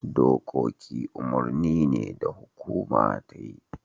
Dokoki umurni ne da hukuma ta yi.